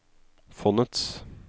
fondets